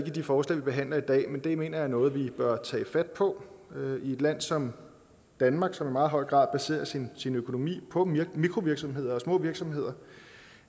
i de forslag vi behandler i dag men det mener jeg er noget vi bør tage fat på i et land som danmark som i meget høj grad baserer sin økonomi på mikrovirksomheder og små virksomheder